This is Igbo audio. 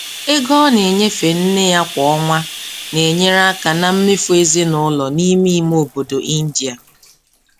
Ego ọ na-enyefe nne ya kwa ọnwa n'enyere aka na mmefu ezinụlọ n'ime ime obodo Ịndia.